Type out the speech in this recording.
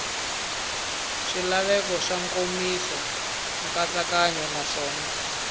swilaveko swa nkomiso nkatsakanyo naswona